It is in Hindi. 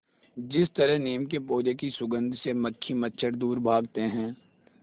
जिस तरह नीम के पौधे की सुगंध से मक्खी मच्छर दूर भागते हैं